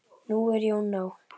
Nú er Jón á